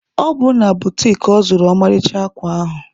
Ọ bụ na butiki ka ọ zụrụ ọmarịcha akwa ahụ.